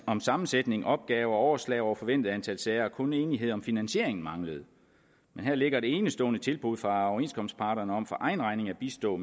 om sammensætning opgaver og overslag over forventede antal sager og kun enighed om finansieringen manglede men her ligger et enestående tilbud fra overenskomstparterne om for egen regning at bistå